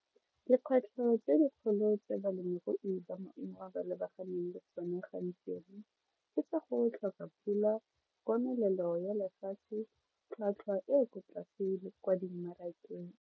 Dikgwetlho tse dikgolo tse balemirui ba maungo ba lebaganeng le tsone gantsi ke tsa go tlhoka pula komelelo ya lefatshe tlhwatlhwa e ko tlase pele le kwa di marakeng.